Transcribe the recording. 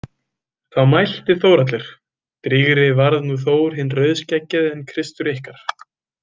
Þá mælti Þórhallur: Drýgri varð nú Þór hinn rauðskeggjaði en Kristur ykkar.